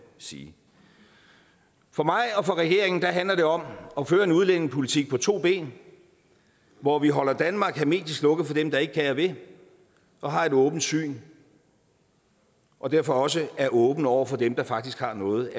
sige for mig og for regeringen handler det om at føre en udlændingepolitik på to ben hvor vi holder danmark hermetisk lukket for dem der ikke kan og vil og har et åbent syn og derfor også er åbne over for dem der faktisk har noget